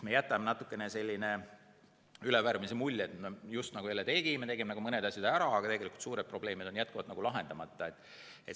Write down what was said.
Me jätame natukene sellise ülevärvimise mulje, just nagu eile, kui tegime mõned asjad ära, aga tegelikult suured probleemid on jätkuvalt lahendamata.